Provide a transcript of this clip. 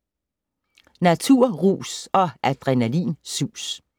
Naturrus og adrenalinsus